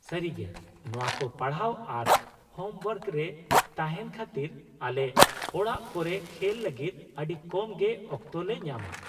-ᱥᱟᱹᱨᱤᱜᱮ, ᱱᱚᱶᱟ ᱠᱚ ᱯᱟᱲᱦᱟᱣ ᱟᱨ ᱦᱳᱢᱳᱣᱟᱨᱠ ᱨᱮ ᱛᱟᱦᱮᱱ ᱠᱷᱟᱹᱛᱤᱨ ᱟᱞᱮ ᱚᱲᱟᱜ ᱠᱚᱨᱮ ᱠᱷᱮᱞ ᱞᱟᱹᱜᱤᱫ ᱟᱹᱰᱤ ᱠᱚᱢ ᱜᱮ ᱚᱠᱛᱚ ᱞᱮ ᱧᱟᱢᱟ ᱾